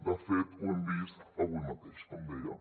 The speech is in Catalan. de fet ho hem vist avui mateix com deia